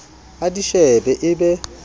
a di shebe e be